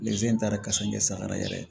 in taara kasɛrɛ sa ka na yɛrɛ